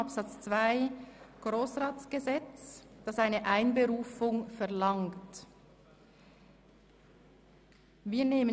Artikel 10 legt fest, wann die Einberufung verlangt werden kann.